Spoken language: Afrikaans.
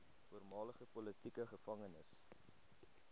voormalige politieke gevangenes